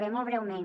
bé molt breument